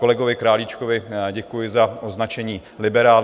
Kolegovi Králíčkovi děkuji za označení liberál.